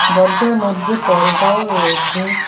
দরজার মধ্যে পর্দাও রয়েছে।